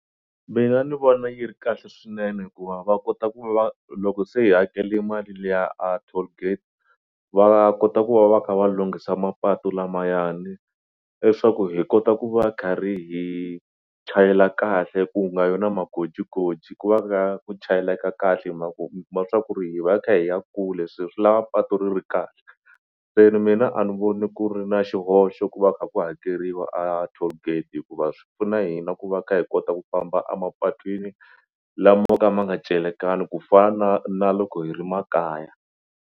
Mina ni vona yi ri kahle swinene hikuva va kota ku va loko se hi hakele mali liya a tollgate va kota ku va va kha va lunghisa mapatu lamayani leswaku hi kota ku va kharhi hi chayela kahle ku nga vi na magojigoji ku va ka ku chayelaka kahle hi mhaka ku mi kuma swa ku ri hi va hi kha hi ya kule swe swi lava patu ri ri kahle se ni mina a ni voni ku ri na xihoxo ku va kha ku hakeriwa a tollgate hikuva swi pfuna hina ku va kha hi kota ku famba a mapatwini lamo ka ma nga celekanga ku fana na loko hi ri makaya.